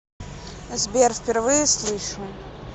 сбер впервые слышу